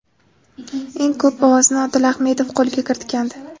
Eng ko‘p ovozni Odil Ahmedov qo‘lga kiritgandi.